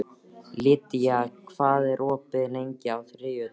Lydia, hvað er opið lengi á þriðjudaginn?